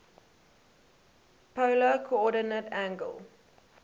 polar coordinate angle